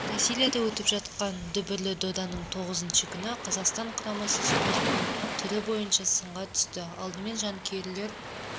бразилияда өтіп жатқан дүбірлі доданың тоғызыншы күні қазақстан құрамасы спорттың түрі бойынша сынға түсті алдымен жанкүйерлер